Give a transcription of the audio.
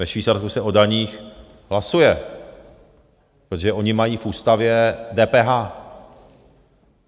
Ve Švýcarsku se o daních hlasuje, protože oni mají v ústavě DPH.